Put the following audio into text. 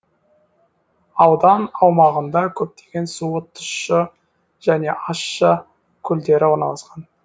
аудан аумағында көптеген суы тұщы және ащы көлдер орналасқан